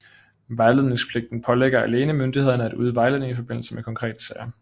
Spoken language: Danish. Vejledningspligten pålægger alene myndighederne at yde vejledning i forbindelse med konkrete sager